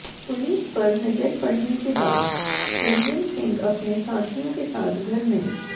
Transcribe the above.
police पर नजर पड़ने के बाद रंजन सिंह अपने साथियों के साथ घर में